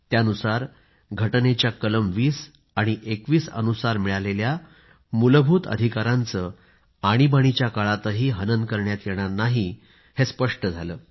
त्यानुसार घटनेच्या कलम 20 आणि 21 अनुसार मिळालेल्या मूलभूत अधिकारांचे आणीबाणीच्या काळातही हनन करण्यात येणार नाही हे स्पष्ट झालं